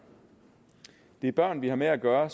det er børn vi har med at gøre og